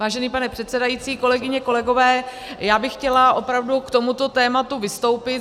Vážený pane předsedající, kolegyně, kolegové, já bych chtěla opravdu k tomuto tématu vystoupit.